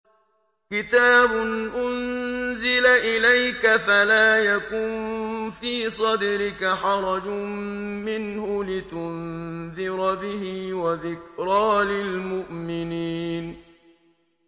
كِتَابٌ أُنزِلَ إِلَيْكَ فَلَا يَكُن فِي صَدْرِكَ حَرَجٌ مِّنْهُ لِتُنذِرَ بِهِ وَذِكْرَىٰ لِلْمُؤْمِنِينَ